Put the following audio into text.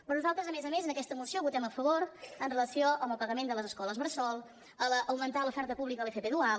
però nosaltres a més a més en aquesta moció votem a favor amb relació al pagament de les escoles bressol a l’augmentar l’oferta pública a l’fp dual